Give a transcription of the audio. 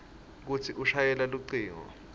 kutsi ushayele lucingo